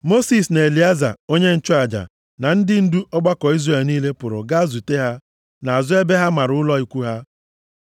Mosis na Elieza onye nchụaja na ndị ndu ọgbakọ Izrel niile pụrụ gaa zute ha nʼazụ ebe ha mara ụlọ ikwu ha.